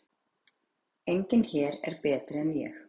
Enginn hér er betri en ég.